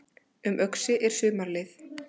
Um Öxi er sumarleið